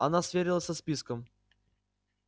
она сверилась со списком